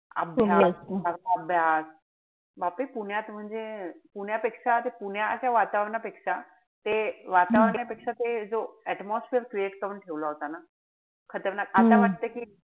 अभ्यास फारच अभ्यास. बापरे पुण्यात म्हणजे पुण्यापेक्षा पुण्याच्या वातावरणापेक्षा ते वातावरण पेक्षा ते जो atmosphere create करून ठेवला होता ना. खतरनाक. आता वाटत कि,